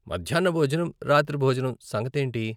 మధ్యాన్న భోజనం, రాత్రి భోజనం సంగతేంటి?